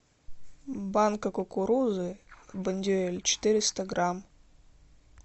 банка кукурузы бондюэль четыреста грамм